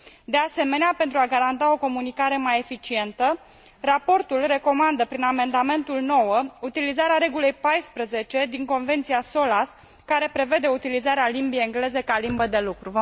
De asemenea, pentru a garanta o comunicare mai eficientă, raportul recomandă prin amendamentul 9 utilizarea regulii 14 din Convenția Solas, care prevede utilizarea limbii engleze ca limbă de lucru.